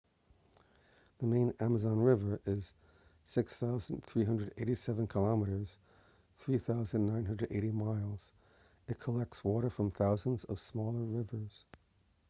the main amazon river is 6,387 km 3,980 miles. it collects water from thousands of smaller rivers